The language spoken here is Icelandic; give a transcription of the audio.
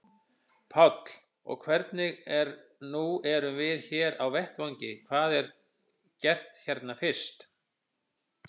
Páll: Og hvernig, nú erum við hér á vettvangi, hvað er gert hérna fyrst?